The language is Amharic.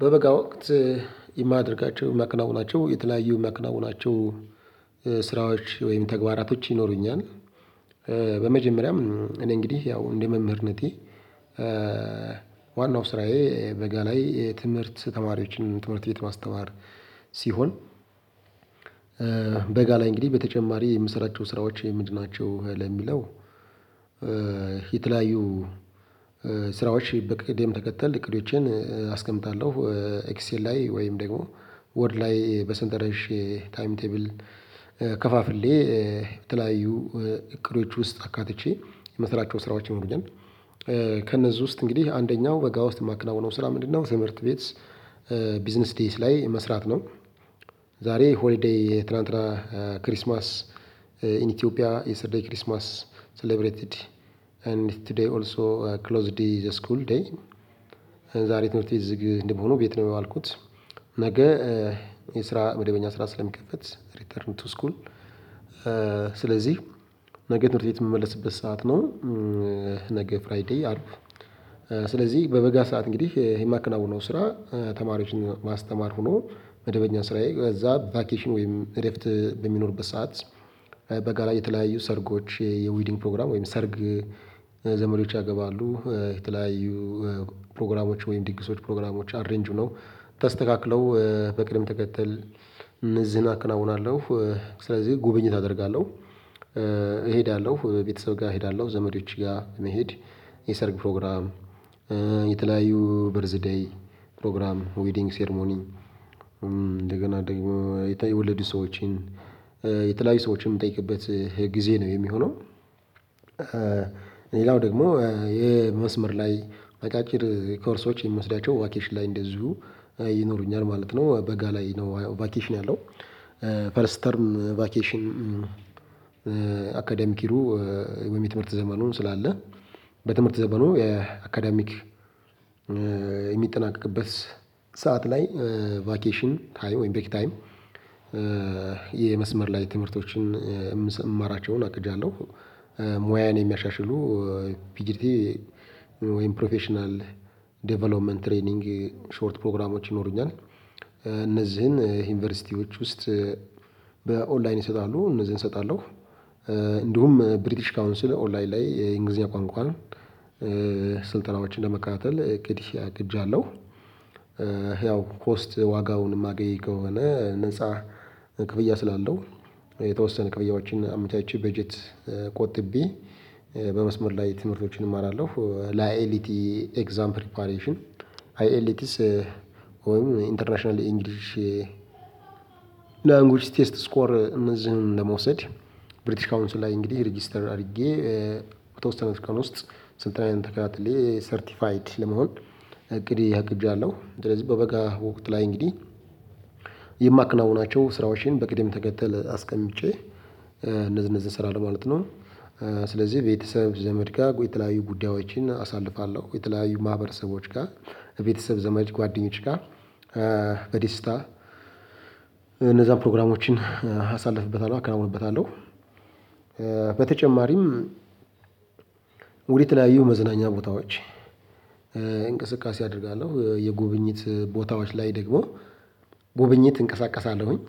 በበጋ ወቅት የማደርጋቸው ማከናውናቸው የተለያዩ ማከናውናቸው ስ ስራዎች ወይም ተግባራቶች ይኖሩኛል። በመጀመሪያም እኔ እንግዲህ ያው እንደ መምህርነቴ ዋናው ስራዬ በጋ ላይ ትምህርት ተማሪዎችን ትምህርት ቤት ማስተማር። ሲሆን። በጋ ላይ እንግዲህ በተጨማሪ የምሰራቸው ስራዎች ምንድናቸው ለሚለው? የተለያዩ ስራዎች በቅድም ተከተል እቅዶችን አስቀምጣለሁ ኤክስኤል ላይ ወይም ደግሞ ወርድ ላይ በስንጠረዥ ታይም ቴብል ከፋፍሌ በተለያዩ እቅዶች ውስጥ አካትቼ የምስራቸው ስራዎችን ይኖሩኛል። ከእነዚህ ውስጥ እንግዲህ አንደኛው በጋ ውስጥ የማከናውነው ስራ ምንድነው? ትምህርት ቤት ቢዝነስ ዴይስ ላይ መስራት ነው። ዛሬ ሆሊዴይ ትላንትና ክሪስማስ ኢን ኢትዮጵያ የሰተርደይ ክሪስማስ ሰሌብሬትድ ኤንድ ቱዴይ ኦልሶ ክሎዝድ ዴይ ዘ ስኩል ዴይ። ዛሬ ትምህርት ቤት ግን እንደመሆኑ ቤት ነው የዋልኩት። ነገ የስራ መደበኛ ስራ ስለሚከፈት ሪተርን ቱ ስኩል። ስለዚህ ነገ ትምህርት ቤት የምመለስበት ሰዓት ነው። ነገ ፍራይዴይ አርብ ስለዚህ በበጋ ሰዓት እንግዲህ የማከናውነው ስራ ተማሪዎችን ማስተማር ሆኖ መደበኛ ስራዬ በዛ ቫኬሽን ወይም እረፍት በሚኖርበት ሰዓት በጋ ላይ የተለያዩ ሰርጎች የዌዲንግ ፕሮግራም ወይም ሰርግ። ዘመዶች ያገባሉ የተለያዩ ፕሮግራሞች ወይም ዲግሶች ፕሮግራሞች አሬንጅ ሁነው ተስተካክለው በቅድም ተከተል እነዚን አከናውናለው ስለዚህ ጉብኝት አደርጋለሁ። እሄዳለሁ ቤተሰብ ጋር እሄዳለሁ ዘመዶች ጋር መሄድ የሰርግ ፕሮግራም። የተለያዩ በርዝ ዴይ ፕሮግራም ዊዲንግ ሴርሞኒ እንደገና ደግሞ የተወለዱ ሰዎችን የተለያዩ ሰዎችን የምጠይቅበት ግዜ ነው የሚሆነው። ሌላው ደግሞ የመስመር ላይ አጫጭር ኮርሶች የምወስዳቻው ቫኬሽን ላይ እንደዚሁ ይኖሩኛል ማለት ነው። በጋ ላይ ነው ቫኬሽን ያለው። ፈርስት ተርም ቫኬሽን። አካዳሚክ ይሩ ወይም ትምህርት ዘመኑን ስላለ በትምህርት ዘመኑ የአካዳሚክ የሚጠናቀቅበት ሰዓት ላይ ቫኬሽን ታይም ወይም ብሬክ ታይም። የመስመር ላይ ትምህርቶችን እምማራቸውን አቅጃለሁ። ሙያዬን የሚያሻሽሉ ፒጂቲ ወይም ፕሮፌሽናል ዴቨሎፕመንት ትሬኒንግ ሾርት ፕሮግራሞች ይኖሩኛል። እነዚህን ዩኒቨርሲቲዎች ውስጥ በኦንላይን ይሰጣሉ እነዚህን እሰጣለሁ። እንዲሁም ብሪቲሽ ካውንስል ኦንላይን ላይ የእንግሊዝኛ ቋንቋን ስልጠናዎችን ለመከታተል እቅድ አቅጃለሁ። ያው ኮስት ዋጋውን የማገኝ ከሆነ ነፃ ክፍያ ስላለው የተወሰነ ክፍያዎችን አምቻችቼ በጀት ቆጥቤ በመስመር ላይ ትምርቶችን እማራለሁ። ለአይኤልቲ ኤግዛምፕል ፓሬሽን አይኤልቴስ ወይም ኢንተርናሽናል ኢንግሊሽ ላንጉጅ ቴስት ስኮር እነዚህን ለመውሰድ ብሪቲሽ ካውንስ ላይ እንግዲህ ሪጅስተር አድርጌ በተወሰነች ቀን ውስጥ ስልጠናዬን ተከታትዬ ሰርቲፋይድ ለመሆን እቅድ አቅጃለሁ። ሰለዚህ በበጋ ወቅት ላይ እንግዲህ የማከናውናቸው ስራዎችን በቅደም ተከተል አስቀምጬ እነዚህ እነዚህ ስራለው ማለት ነው። ስለዚህ ቤተሰብ ዘመድ ጋር የተለያዩ ጉዳዮችን አሳልፋለሁ የተለያዩ ማህበረሰቦች ጋር ቤተሰብ ዘማች ጓደኞች ጋር። በደስታ እነዛ ፕሮግራሞችን አሳልፍበታለሁ አከናውንበታለሁ። በተጨማሪም ወደ ተለያዩ መዝናኛ ቦታዎች እንቅስቃሴ አደርጋለሁ የጉብኝት ቦታዎች ላይ ደግሞ ጉበኝት እንቀሳቀሳለሁኝ።